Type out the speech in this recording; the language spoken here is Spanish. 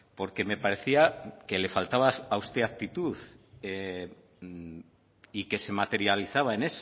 porque me parecía que le faltaba a usted actitud y que se materializaba en